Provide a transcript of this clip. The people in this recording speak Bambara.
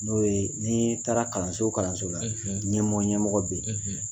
N'o ye n'i taara kalanso o kalanso la ɲɛmɔgɔ ɲɛmɔgɔ bɛ yen